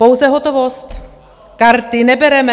Pouze hotovost, karty nebereme.